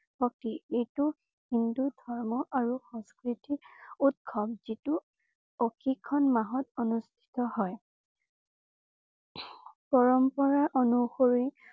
প্ৰতি এইটো হিন্দু ধৰ্ম আৰু সংস্কৃতি উৎসৱ যিটো মাহত অনুষ্ঠিত হয়। পৰম্পৰা অনুসৰি